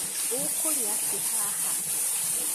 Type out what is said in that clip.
Ũkũrĩa kĩ haha?